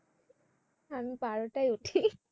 আমি বারোটায় উঠি।